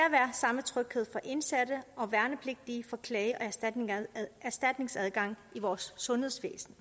samme tryghed for indsatte og værnepligtige for klage og erstatningsadgang i vores sundhedsvæsen